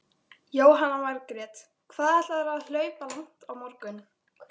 Jóhanna Margrét: Hvað ætlarðu að hlaupa langt á morgun?